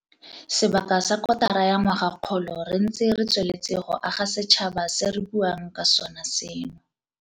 Sebaka sa kotara ya ngwagakgolo re ntse re tsweletse go aga setšhaba se re buang ka sona seno.